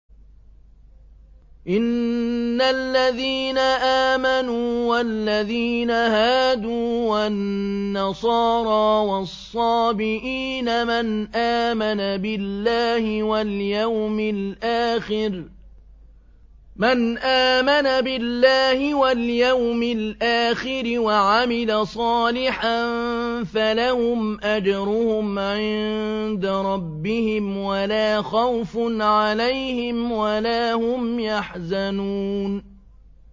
إِنَّ الَّذِينَ آمَنُوا وَالَّذِينَ هَادُوا وَالنَّصَارَىٰ وَالصَّابِئِينَ مَنْ آمَنَ بِاللَّهِ وَالْيَوْمِ الْآخِرِ وَعَمِلَ صَالِحًا فَلَهُمْ أَجْرُهُمْ عِندَ رَبِّهِمْ وَلَا خَوْفٌ عَلَيْهِمْ وَلَا هُمْ يَحْزَنُونَ